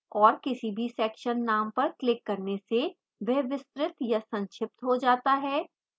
और किसी भी section name पर क्लिक करने से वह विस्तृत या संक्षिप्त हो जाता है